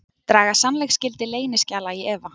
Draga sannleiksgildi leyniskjala í efa